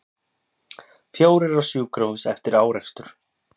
Fjórir á sjúkrahús eftir árekstur